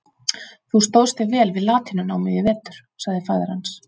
Þú stóðst þig vel við latínunámið í vetur, sagði faðir hans.